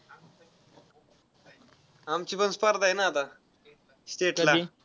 आमचीपण स्पर्धा आहे ना आता state ला.